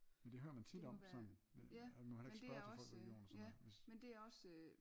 Men det hører man tit om sådan at man må heller ikke spørge til folks religion og sådan noget hvis